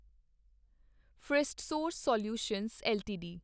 Firstsource solutions LTD